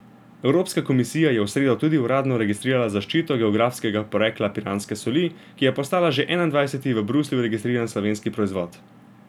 Evropska komisija je v sredo tudi uradno registrirala zaščito geografskega porekla piranske soli, ki je postala že enaindvajseti v Bruslju registriran slovenski proizvod.